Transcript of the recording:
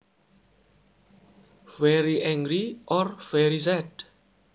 Very angry or very sad